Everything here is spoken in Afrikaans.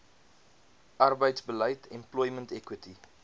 arbeidsbeleid employment equity